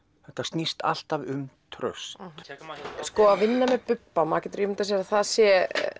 þetta snýst alltaf um traust að vinna með Bubba maður getur ímyndað sér að það sé